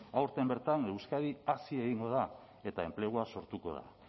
aurten bertan euskadi hazi egingo da eta enplegua sortuko da